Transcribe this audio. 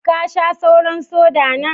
Ka Sha sauran "soda" na?